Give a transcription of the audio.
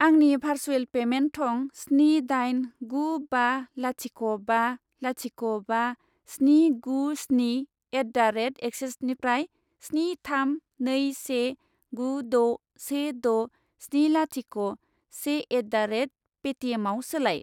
आंनि भारसुएल पेमेन्ट थं स्नि दाइन गु बा लाथिख' बा लाथिख' बा स्नि गु स्नि एट दा रेट एक्सिसनिफ्राय स्नि थाम नै से गु द' से द' स्नि लाथिख' से एट दा रेट पेटिएमआव सोलाय।